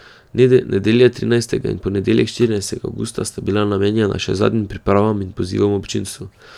Nedelja trinajstega in ponedeljek štirinajstega avgusta sta bila namenjena še zadnjim pripravam in pozivom občinstvu.